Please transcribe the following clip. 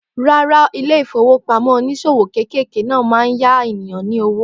Rárá, ilé ìfowópamọ́ oníṣòwò kéékèèké náà máa ń yá ènìyàn ní owó.